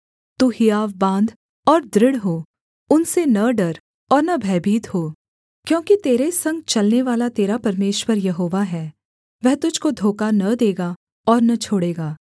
तू हियाव बाँध और दृढ़ हो उनसे न डर और न भयभीत हो क्योंकि तेरे संग चलनेवाला तेरा परमेश्वर यहोवा है वह तुझको धोखा न देगा और न छोड़ेगा